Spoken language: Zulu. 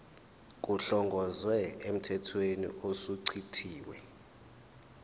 kuhlongozwe emthethweni osuchithiwe